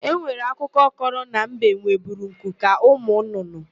E nwere akụkọ kọrọ na mbe nweburu nku ka ụmụnnụnnụ.